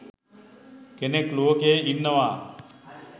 කෙනෙක් ලෝකයෙහි ඉන්නවා.